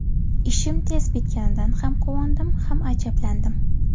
Ishim tez bitganidan ham quvondim, ham ajablandim.